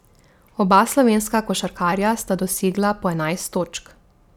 Oba slovenska košarkarja sta dosegla po enajst točk.